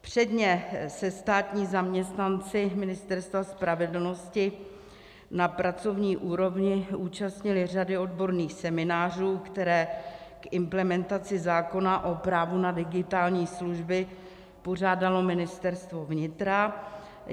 Předně se státní zaměstnanci Ministerstva spravedlnosti na pracovní úrovni účastnili řady odborných seminářů, které k implementaci zákona o právu na digitální služby pořádalo Ministerstvo vnitra.